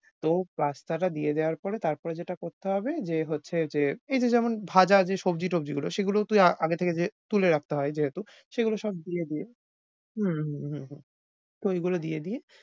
তো pasta টা দিয়ে দেওয়ার পরে তারপরে যেটা করতে হবে যে হচ্ছে যে এই যে যেমন ভাজা যে সবজি টবজিগুলো সেগুলোও তুই আ~ আগে থেকে যে তুলে রাখতে হয় যেহেতু সেগুলো সব দিয়ে দিয়ে, হম হম হম হম তো ঐগুলো দিয়ে দিয়ে